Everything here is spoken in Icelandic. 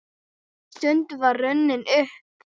Stundin var runnin upp!